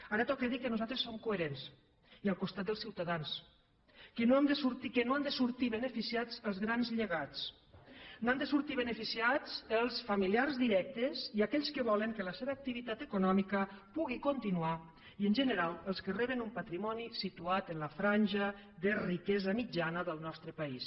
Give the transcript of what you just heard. ara toca dir que nosaltres som coherents i al costat dels ciutadans que no n’han de sortir beneficiats els grans llegats n’han de sortir beneficiats els familiars directes i aquells que volen que la seva activitat econòmica pugui continuar i en general els que reben un patrimoni situat en la franja de riquesa mitjana del nostre país